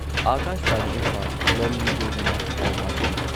ꯑꯥꯀꯥꯁꯕꯥꯅꯤ ꯏꯝꯐꯥꯜ ꯂꯣꯟꯂꯤ ꯗꯦꯕꯤꯅ ꯄꯥꯎ ꯄꯥꯖꯔꯤ